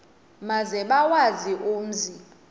maze bawazi umzi